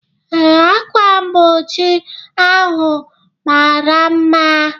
Ee, ákwà mgbochi ahụ mara mma.